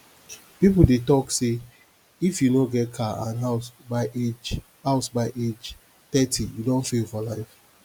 people dey talk say if you no get car and house by age house by age thirty you don fail for life